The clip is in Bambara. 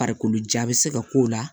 Farikolo ja bɛ se ka k'o la